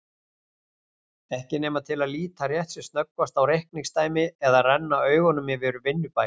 Ekki nema til að líta rétt sem snöggvast á reikningsdæmi eða renna augunum yfir vinnubækur.